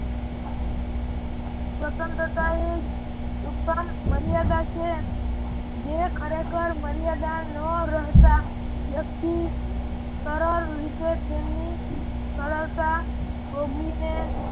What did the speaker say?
સ્વતંત્રતા એ જ ઉત્તમ મર્યાદા છે જે ખરેખર મર્યાદા ન રહેતા વ્યક્તિ સરળ રીતે તેમની સરળતા ભોગવીને